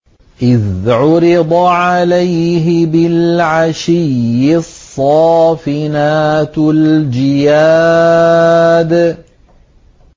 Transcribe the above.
إِذْ عُرِضَ عَلَيْهِ بِالْعَشِيِّ الصَّافِنَاتُ الْجِيَادُ